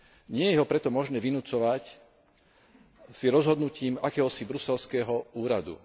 Nie je ho preto možné vynucovať rozhodnutím akéhosi bruselského úradu.